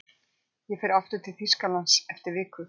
Ég fer aftur til Þýskalands eftir viku.